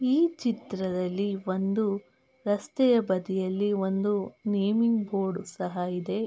ಈ ಚಿತ್ರದಲ್ಲಿ ಒಂದು ರಸ್ತೆಯ ಬದಿಯಲ್ಲಿ ಒಂದು ನೇಮಿಂಗ್ ಬೋರ್ಡ್ ಸಹ ಇದೆ.